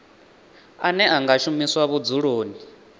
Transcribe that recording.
ane a nga shumiswa vhudzuloni